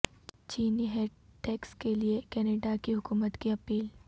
چینی head tax کے لئے کینیڈا کی حکومت کی اپیل